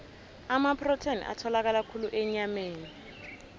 amaprotheni atholakala khulu enyameni